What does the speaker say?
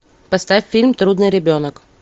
поставь фильм трудный ребенок